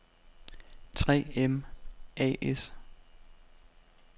3 M A/S